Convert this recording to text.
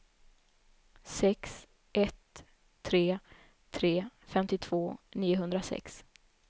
sex ett tre tre femtiotvå niohundrasex